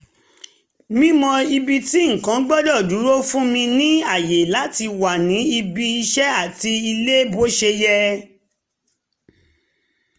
mímọ̀ ibi tí nǹkan gbọ́dọ̀ dúró fún mi ní àyè láti wà ní ibi iṣẹ́ àti ilé bó ṣe yẹ